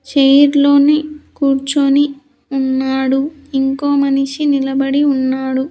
Chair లోనే కూర్చొని ఉన్నాడు ఇంకో మనిషి నిలబడి ఉన్నాడు.